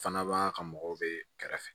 Fana b'a ka mɔgɔw be kɛrɛ fɛ